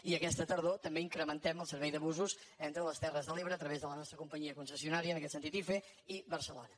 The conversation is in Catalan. i aquesta tardor també incrementem el servei de busos entre les terres de l’ebre a través de la nostra companyia concessionària en aquest sentit hife i barcelona